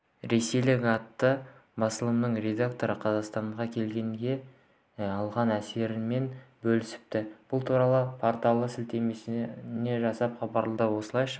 ресейлік атты басылымның редакторы қазақстанға келгенде алған әсерімен бөлісіпті бұл туралы порталы сілетеме жасап хабарлады осылайша